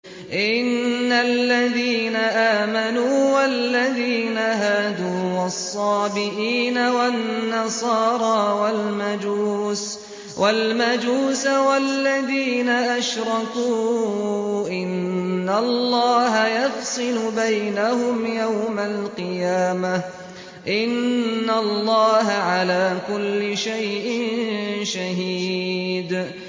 إِنَّ الَّذِينَ آمَنُوا وَالَّذِينَ هَادُوا وَالصَّابِئِينَ وَالنَّصَارَىٰ وَالْمَجُوسَ وَالَّذِينَ أَشْرَكُوا إِنَّ اللَّهَ يَفْصِلُ بَيْنَهُمْ يَوْمَ الْقِيَامَةِ ۚ إِنَّ اللَّهَ عَلَىٰ كُلِّ شَيْءٍ شَهِيدٌ